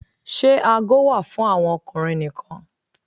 Ṣe aago wà fún àwọn ọkùnrin nìkan?